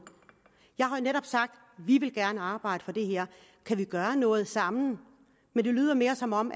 jeg har jo netop sagt vi vil gerne arbejde for det her kan vi gøre noget sammen men det lyder mere som om